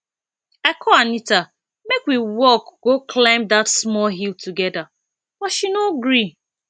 i call anita make we walk go climb dat small hill together but she no gree